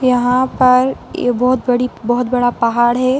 यहाँ पर ये बोहोत बड़ी बोहत बड़ा पहाड़ है।